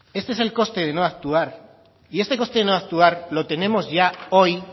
ese es el coste de no actuar y este coste de no actuar lo tenemos ya hoy